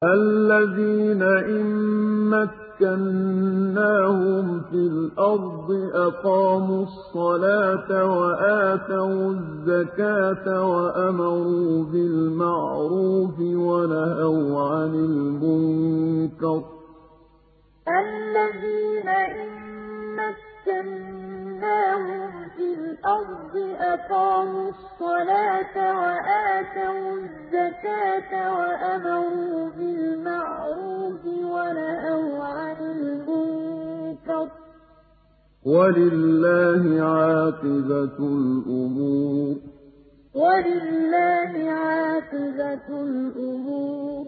الَّذِينَ إِن مَّكَّنَّاهُمْ فِي الْأَرْضِ أَقَامُوا الصَّلَاةَ وَآتَوُا الزَّكَاةَ وَأَمَرُوا بِالْمَعْرُوفِ وَنَهَوْا عَنِ الْمُنكَرِ ۗ وَلِلَّهِ عَاقِبَةُ الْأُمُورِ الَّذِينَ إِن مَّكَّنَّاهُمْ فِي الْأَرْضِ أَقَامُوا الصَّلَاةَ وَآتَوُا الزَّكَاةَ وَأَمَرُوا بِالْمَعْرُوفِ وَنَهَوْا عَنِ الْمُنكَرِ ۗ وَلِلَّهِ عَاقِبَةُ الْأُمُورِ